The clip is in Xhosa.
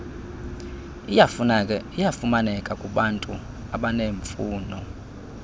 iyafumaneka kubantu abaneemfuno